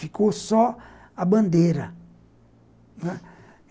Ficou só a bandeira, né.